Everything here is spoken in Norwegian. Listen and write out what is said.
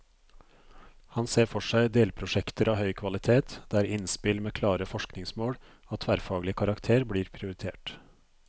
Han ser for seg delprosjekter av høy kvalitet, der innspill med klare forskningsmål og tverrfaglig karakter blir prioritert.